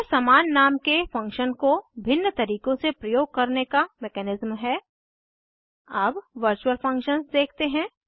यह समान नाम के फंक्शन को भिन्न तरीकों से प्रयोग करने का मेकेनिज़म है अब वर्चूअल फंक्शन्स देखते हैं